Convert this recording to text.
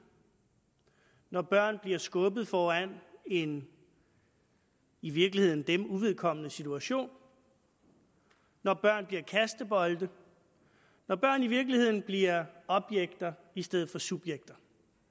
når børn bliver skubbet foran i en i virkeligheden dem uvedkommende situation når børn bliver kastebolde når børn i virkeligheden bliver objekter i stedet for subjekter